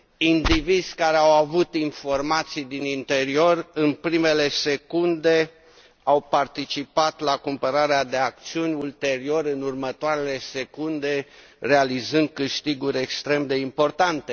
Indivizi care au avut informații din interior, în primele secunde, au participat la cumpărarea de acțiuni, ulterior, în următoarele secunde, realizând câștiguri extrem de importante.